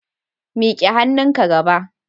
Mik'e hannunka gaba